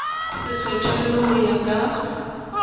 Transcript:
se kgethollwe ho ya ka